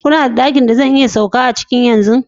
Kuna da dakin da zan iya sauka a ciki yanzu?